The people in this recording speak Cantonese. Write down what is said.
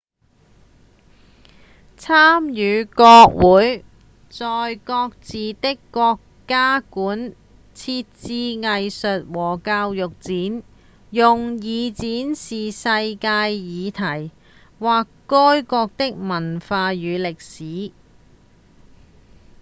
參與國會在各自的國家館設置藝術或教育展用以展示世界議題或該國的文化與歷史